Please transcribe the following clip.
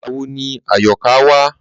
Ìgbà wo ni Àyọ̀ká wá?